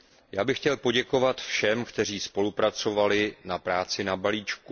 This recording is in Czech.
Já bych chtěl poděkovat všem, kteří spolupracovali na práci na balíčku.